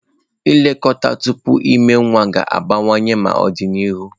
Nlekọta tupu ịmụ nwa ga-akawanye mma n'ọdịnihu